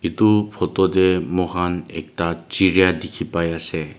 edu photo tae moikhan ekta chiriya dikhipaiase.